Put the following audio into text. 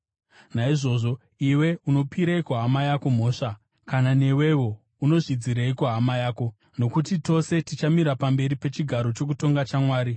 Naizvozvo, iwe, unopireiko hama yako mhosva? Kana newewo unozvidzireiko hama yako? Nokuti tose tichamira pamberi pechigaro chokutonga chaMwari.